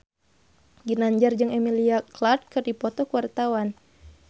Ginanjar jeung Emilia Clarke keur dipoto ku wartawan